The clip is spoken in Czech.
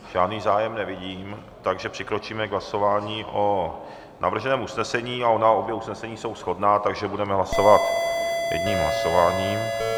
Žádný zájem nevidím, takže přikročíme k hlasování o navrženém usnesení, a ona obě usnesení jsou shodná, takže budeme hlasovat jedním hlasováním.